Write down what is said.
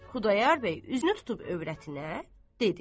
Xudayar bəy üzünü tutub övrətinə dedi: